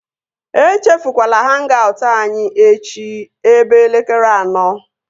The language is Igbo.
Echefukwala hang-aut anyị echi ebe elekere anọ!